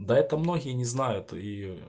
да это многие не знают её